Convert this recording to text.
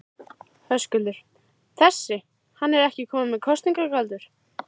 Höskuldur: Þessi, hann er ekki kominn með kosningaaldur?